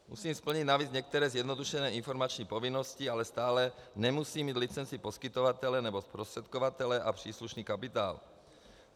Musím splnit navíc některé zjednodušené informační povinnosti, ale stále nemusím mít licenci poskytovatele nebo zprostředkovatele a příslušný kapitál.